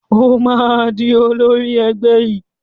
Ó máa di olórí ẹgbẹ́ yìí.